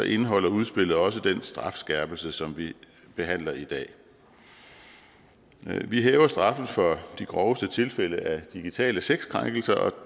indeholder udspillet også den strafskærpelse som vi behandler i dag vi hæver straffen for de groveste tilfælde af digitale sexkrænkelser og